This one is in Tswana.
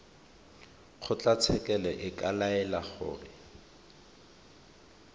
kgotlatshekelo e ka laela gore